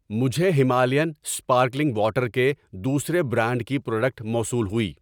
مجھے Himalayan sparkling water کے دوسرے برانڈ کی پراڈکٹ موصول ہوئی۔